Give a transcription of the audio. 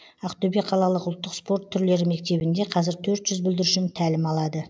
ақтөбе қалалық ұлттық спорт түрлері мектебінде қазір төрт жүз бүлдіршін тәлім алады